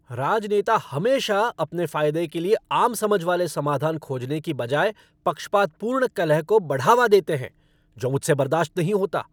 राजनेता हमेशा अपने फायदे के लिए आम समझ वाले समाधान खोजने की बजाय पक्षपातपूर्ण कलह को बढ़ावा देते हैं जो मुझसे बर्दाश्त नहीं होता।